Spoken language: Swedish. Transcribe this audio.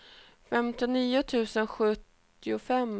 femtionio tusen sjuttiofem